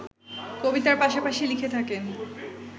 কবিতার পাশাপাশি লিখে থাকেন